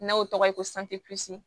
N'aw tɔgɔ ye ko